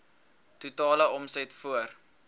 totale omset voor